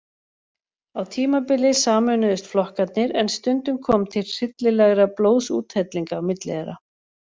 Á tímabili sameinuðust flokkarnir en stundum kom til hryllilegra blóðsúthellinga á milli þeirra.